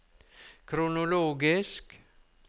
kronologisk